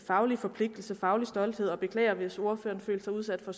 faglige forpligtelser faglig stolthed jeg beklager hvis ordføreren følte sig udsat for